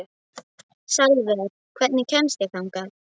Salvör, hvernig kemst ég þangað?